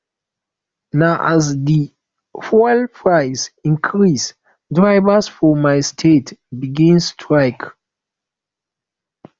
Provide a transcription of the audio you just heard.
na as di fuel price increase drivers for my state begin strike